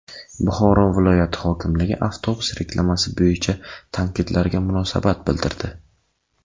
Buxoro viloyati hokimligi avtobus reklamasi bo‘yicha tanqidlarga munosabat bildirdi.